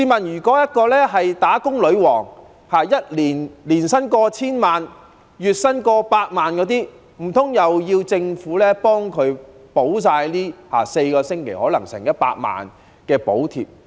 如果一位"打工女王"的月薪過百萬元、年薪過千萬元，難道要政府替她補貼4星期可能差不多100萬元的補貼？